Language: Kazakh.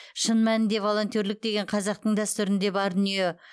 шын нәнінде волонтерлік деген қазақтың дәстүрінде бар дүние